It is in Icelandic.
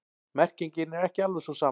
Merkingin er ekki alveg sú sama.